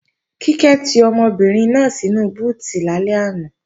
Kíkẹ́ ti ọmọbìnrin náà sínu búùtì lálẹ́ àná